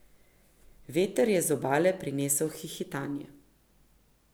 Veter je z obale prinesel hihitanje.